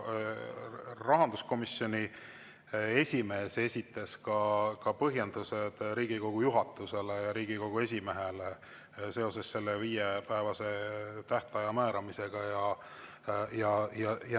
Rahanduskomisjoni esimees esitas ka Riigikogu juhatusele ja Riigikogu esimehele põhjendused, miks see viiepäevane tähtaeg määrati.